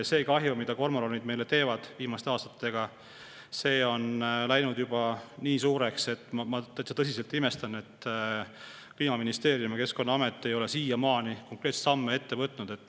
See kahju, mida kormoranid on meile teinud viimaste aastatega, on läinud juba nii suureks, et ma täitsa tõsiselt imestan, et Kliimaministeerium ja Keskkonnaamet ei ole siiamaani konkreetseid samme ette võtnud.